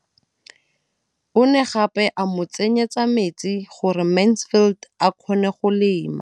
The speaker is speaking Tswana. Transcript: O ne gape a mo tsenyetsa metsi gore Mansfield a kgone go lema.